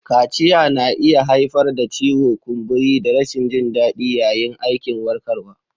Kaciya na iya haifar da ciwo, kumburi, da rashin jin daɗi yayin aikin warkarwa.